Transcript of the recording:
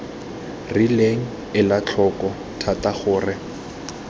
rileng ela tlhoko thata gore